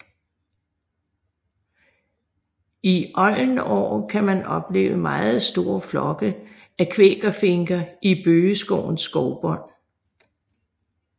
I oldenår kan man opleve meget store flokke af kvækerfinker i bøgeskovens skovbund